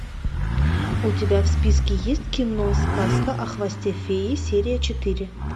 у тебя в списке есть кино сказка о хвосте феи серия четыре